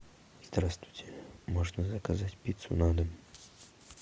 здравствуйте можно заказать пиццу на дом